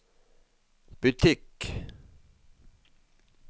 butikk